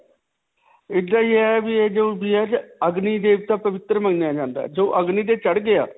ਇੱਦਾਂ ਹੀ ਹੈ ਵੀ ਇਹ ਜੋ ਵੀ ਹੈ. ਅਗਨੀ ਦੇਵਤਾ ਪਵਿਤਰ ਮੰਨਿਆ ਜਾਂਦਾ ਹੈ. ਜੀ ਅਗਨੀ ਤੇ ਚੜ੍ਹ ਗਿਆ.